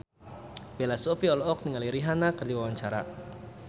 Bella Shofie olohok ningali Rihanna keur diwawancara